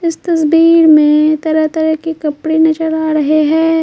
इस तस्वीर में तरह-तरह के कपड़े नजर आ रहे हैं।